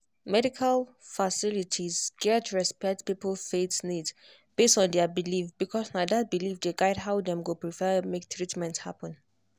medical facilities gats respect people faith needs based on their belief because na that belief dey guide how dem go prefer make treatment happen.